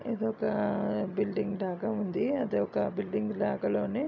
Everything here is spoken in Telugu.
ఇది ఒక బిల్డింగ్ లాగా ఉంది. అది ఒక బిల్డింగ్ లాగా లోనే --